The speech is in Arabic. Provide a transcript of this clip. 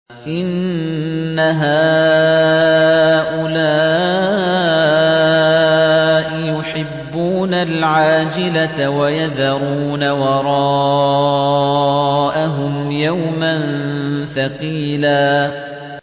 إِنَّ هَٰؤُلَاءِ يُحِبُّونَ الْعَاجِلَةَ وَيَذَرُونَ وَرَاءَهُمْ يَوْمًا ثَقِيلًا